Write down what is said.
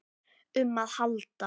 um að halda.